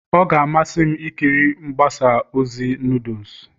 Ọ ga-amasị m ikiri mgbasa ozi noodles